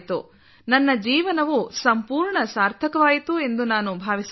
ನನ್ನ ಜೀವನವು ಸಂಪೂರ್ಣ ಸಾರ್ಥಕವಾಯಿತು ಎಂದು ನಾನು ಭಾವಿಸುತ್ತೇನೆ